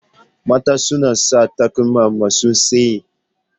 Mata suna sanya takalma masu tsayi.